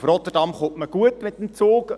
Nach Rotterdam gelangt man gut mit dem Zug.